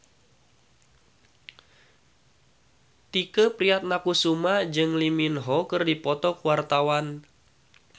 Tike Priatnakusuma jeung Lee Min Ho keur dipoto ku wartawan